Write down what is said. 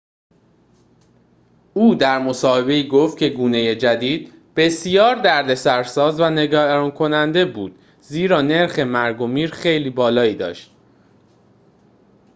او در مصاحبه‌ای گفت که گونه جدید بسیار دردسرساز و نگران‌کننده بود زیرا نرخ مرگ و میر خیلی بالایی داشت